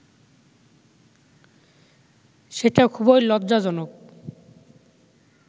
সেটা খুবই লজ্জাজনক